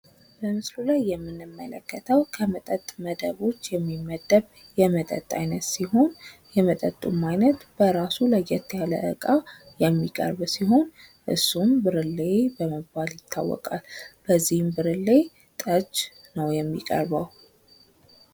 በምስሉ ላይ የምንመለከተው ከመጠጥ አይነቶች የሚመደብ የመጠጥ አይነት ሲሆን ፤ በራሱ ለየት ያለ እቃ የሚቀርብ ሲሆን ብርሌ ይባላል። በዚህም ብርሌ ጠጅ ነው የሚቀርበው።